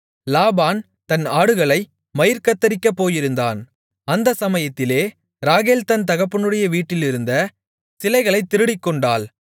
லாபான் தன் ஆடுகளை மயிர்கத்தரிக்கப் போயிருந்தான் அந்த சமயத்திலே ராகேல் தன் தகப்பனுடைய வீட்டிலிருந்த சிலைகளைத் திருடிக்கொண்டாள்